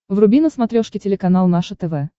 вруби на смотрешке телеканал наше тв